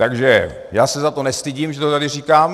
Takže já se za to nestydím, že to tady říkám.